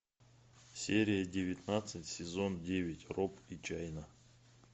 серия девятнадцать сезон девять роб и чайна